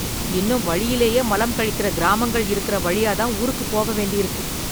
இன்னும் வழியிலேயே மலம் கழிக்கிற கிராமங்கள் இருக்குற வழியா தான் ஊருக்கு போக வேண்டியிருக்கு.